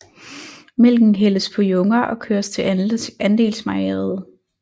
Mælken hældes på junger og køres til andelsmejeriet